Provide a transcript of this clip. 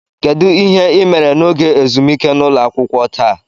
Kedu ihe ị mere n'oge ezumike n'ụlọ akwụkwọ taa?